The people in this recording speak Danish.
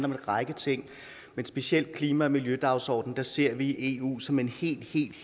en række ting specielt med klima og miljødagsordenen ser vi eu som en helt